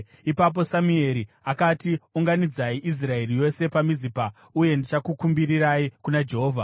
Ipapo Samueri akati, “Unganidzai Israeri yose paMizipa uye ndichakukumbirirai kuna Jehovha.”